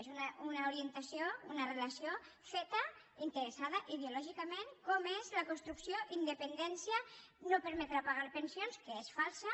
és una relació feta interessada ideològicament com ho és que la construcció de la independència no permetrà pagar les pensions que és falsa